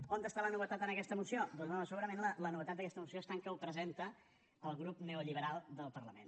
on està la novetat en aquesta moció doncs home segurament la novetat d’aquesta moció està en que ho presenta el grup neoliberal del parlament